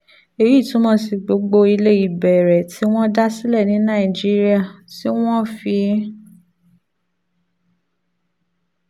èyí túmọ̀ sí pé gbogbo ilé ìbẹ̀rẹ̀ tí wọ́n dá sílẹ̀ ní nàìjíríà (tí wọ́n fi